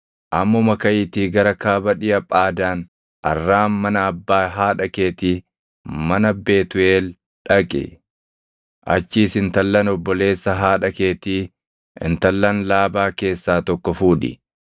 Ammuma kaʼiitii gara kaaba dhiʼa Phaadaan Arraam mana abbaa haadha keetii mana Betuuʼeel dhaqi. Achiis intallan obboleessa haadha keetii intallan Laabaa keessaa tokko fuudhi.